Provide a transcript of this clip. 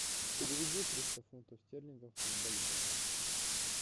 переведи триста фунтов стерлингов в бальбоа